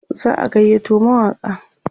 za'a gayyato mawaƙan